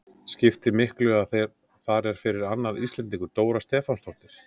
Skipti miklu að þar er fyrir annar Íslendingur, Dóra Stefánsdóttir?